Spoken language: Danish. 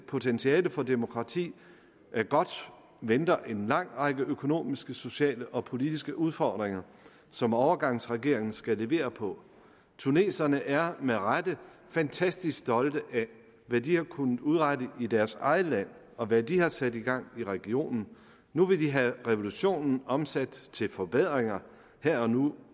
potentiale for demokrati er godt venter en lang række økonomiske sociale og politiske udfordringer som overgangsregeringen skal levere på tuneserne er med rette fantastisk stolte af hvad de har kunnet udrette i deres eget land og hvad de har sat i gang i regionen nu vil de have revolutionen omsat til forbedringer her og nu